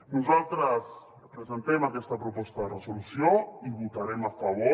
nosaltres presentem aquesta proposta de resolució i hi votarem a favor